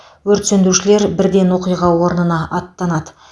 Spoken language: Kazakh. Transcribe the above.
өрт сөндірушілер бірден оқиға орнына аттанады